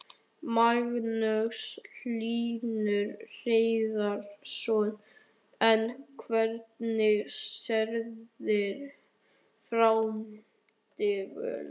Magnús Hlynur Hreiðarsson: En hvernig sérðu framtíð Vonar?